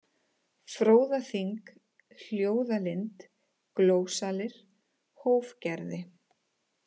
Fróðaþing, Hljóðalind, Glósalir, Hófgerði